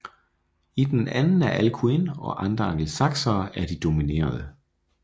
I den anden er Alcuin og andre angelsaksere de dominerende